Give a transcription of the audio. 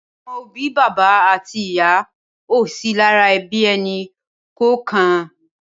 Awòn óbì bàbá àtí ìyá ó sì làrá èbí ẹni kọọkàn